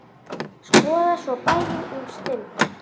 Skoða svo bæinn um stund.